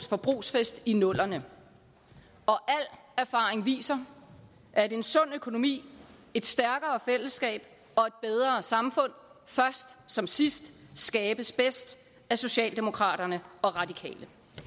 forbrugsfest i 00’erne og al erfaring viser at en sund økonomi et stærkere fællesskab og et bedre samfund først som sidst skabes bedst af socialdemokraterne og radikale